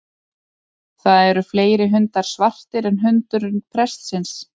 Það eru fleiri hundar svartir en hundurinn prestsins.